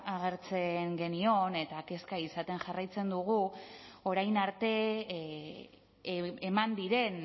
agertzen genion eta kezka izaten jarraitzen dugu orain arte eman diren